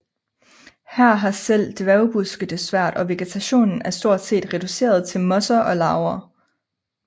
Her har selv dværgbuske det svært og vegetationen er stort set reduceret til mosser og laver